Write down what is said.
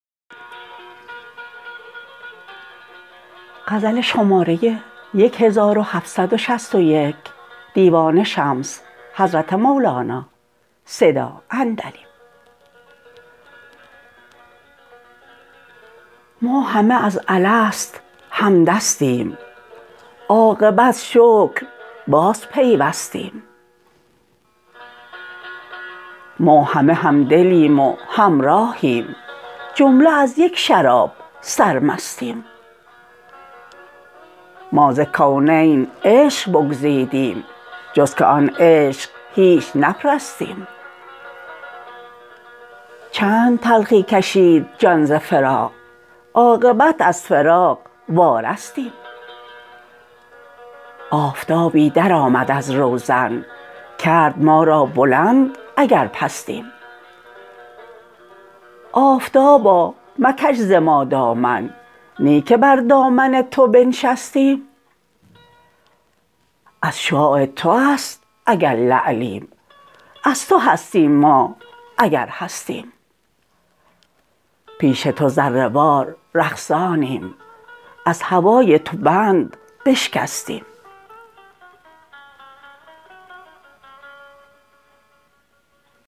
ما همه از الست همدستیم عاقبت شکر بازپیوستیم ما همه همدلیم و همراهیم جمله از یک شراب سرمستیم ما ز کونین عشق بگزیدیم جز که آن عشق هیچ نپرستیم چند تلخی کشید جان ز فراق عاقبت از فراق وارستیم آفتابی درآمد از روزن کرد ما را بلند اگر پستیم آفتابا مکش ز ما دامن نی که بر دامن تو بنشستیم از شعاع تو است اگر لعلیم از تو هستیم ما اگر هستیم پیش تو ذره وار رقصانیم از هوای تو بند بشکستیم